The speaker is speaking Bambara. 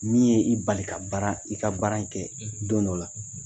Min ye i bali ka baara i ka baara kɛ don dɔw la.